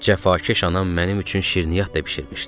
Cəfakeş anam mənim üçün şirniyyat da bişirmişdi.